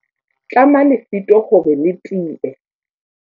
Tlama lefito hore le tie.